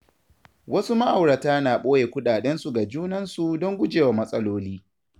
Wasu ma’aurata na ɓoye kuɗaɗensu ga junansu don gujewa matsaloli.